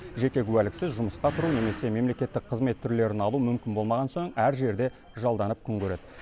жеке куәліксіз жұмысқа тұру немесе мемлекеттік қызмет түрлерін алу мүмкін болмаған соң әр жерде жалданып күн көреді